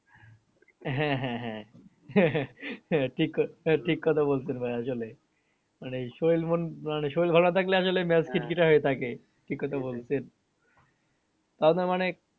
হ্যাঁ হ্যাঁ হ্যাঁ ঠিক ঠিক কথা বলছেন ভাইয়া আসলে মানে শরীর মন শরীর ভালো না থাকলে আসলে খিটখিটা হয়ে থাকে ঠিক কথা বলছেন তাও তো মানে